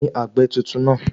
Taàní àgbẹ̀ tuntun náà?